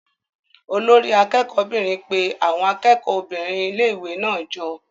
Olori akẹ́kọ̀ọ́ 'bìnrin pe àwọn akẹ́kọ̀ọ́ obìnrin ilé-ìwé náà jọ.